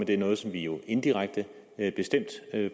det er noget som vi jo indirekte bestemt